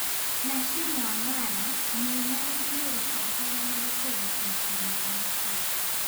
Nashami Wangara: Miyo mane iluoro kod hera mar chode kuom higni auchiel.